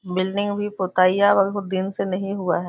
Building भी पोटइयाँ बहुत दिन से नहीं हुआ है।